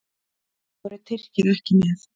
Þá eru Tyrkir ekki með.